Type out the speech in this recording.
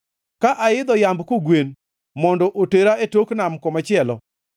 Ka aidho yamb kogwen mondo otera e tok nam komachielo,